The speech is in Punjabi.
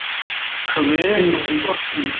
ਸਵੇਰੇ ਤੁਸੀਂ